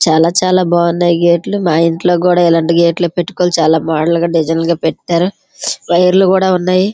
చాలా చాలా బాగున్నాయి గెట్ లు మా ఇంట్లో కూడా ఇలాంటి గేట్లే పెట్టుకోవాలి చాలా మోడల్ గా డిజైన్ లుగా పెట్టారు మా ఊర్లో కూడా ఉన్నాయి.